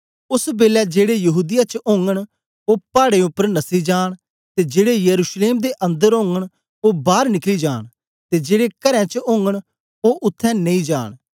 ओस बेलै जेड़े यहूदीया च ओगन ओ पाडें उपर नसी जान ते जेड़े यरूशलेम दे अन्दर ओगन ओ बार निकली जान ते जेड़े घरां च ओगन ओ उत्थें नेई जान